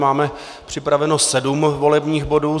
Máme připravených sedm volebních bodů.